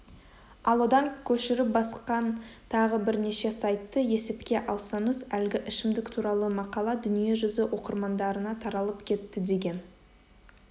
ал одан көшіріп басқан тағы бірнеше сайтты есепке алсаңыз әлгі ішімдік туралы мақала дүниежүзі оқырмандарына таралып кетті деген